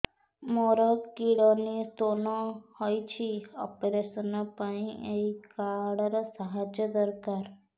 ମୋର kidney stone ହଇଛି operation ପାଇଁ ଏହି କାର୍ଡ ର ସାହାଯ୍ୟ ଦରକାର